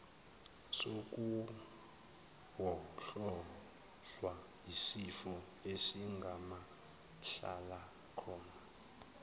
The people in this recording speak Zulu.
sokuwohlozwa yisifo esingamahlalakhona